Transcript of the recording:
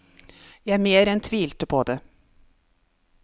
Jeg mer enn tviler på det.